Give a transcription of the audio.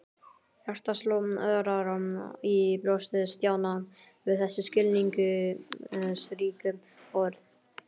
Hjartað sló örar í brjósti Stjána við þessi skilningsríku orð.